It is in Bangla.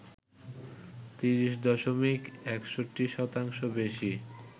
৩০ দশমিক ৬১ শতাংশ বেশি